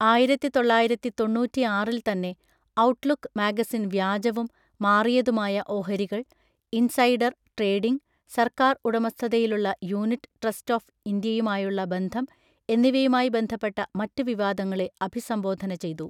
ആയിരത്തിതൊള്ളയിരത്തിതൊണ്ണൂറ്റിആറിൽ തന്നെ, Outlook magazine വ്യാജവും മാറിയതുമായ ഓഹരികൾ, ഇൻസൈഡർ ട്രേഡിംഗ്, സർക്കാർ ഉടമസ്ഥതയിലുള്ള യൂണിറ്റ് ട്രസ്റ്റ് ഓഫ് ഇന്ത്യയുമായുള്ള ബന്ധം എന്നിവയുമായി ബന്ധപ്പെട്ട മറ്റ് വിവാദങ്ങളെ അഭിസംബോധന ചെയ്തു.